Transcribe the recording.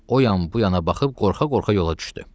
O yan bu yana baxıb qorxa-qorxa yola düşdü.